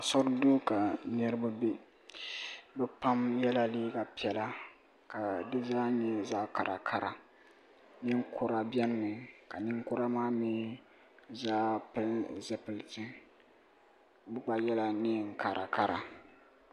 Asori duu ka niriba be bɛ pam yela liiga piɛla ka dizaa nyɛ zaɣa karakara ninkura biɛni mi ka ninkura maa mee zaa pili zipilti bɛ gba yela niɛn'karakara.